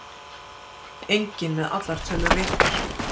Enginn með allar tölur réttar